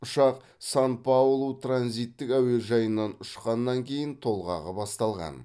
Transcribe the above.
ұшақ сан паулу транзиттік әуежайынан ұшқаннан кейін толғағы басталған